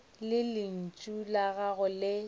lentšu la gago re le